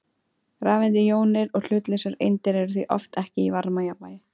Rafeindir, jónir og hlutlausar eindir eru því oft ekki í varmajafnvægi.